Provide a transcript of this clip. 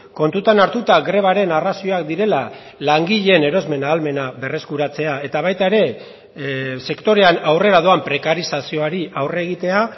kontutan hartuta grebaren arrazoiak direla langileen erosmen ahalmena berreskuratzea eta baita ere sektorean aurrera doan prekarizazioari aurre egitea